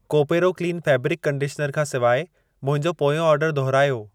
Koparo clean fabric conditioner खां सिवाइ मुंहिंजो पोयों ऑर्डर दहुरायो।